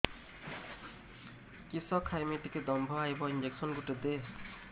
କିସ ଖାଇମି ଟିକେ ଦମ୍ଭ ଆଇବ ଇଞ୍ଜେକସନ ଗୁଟେ ଦେ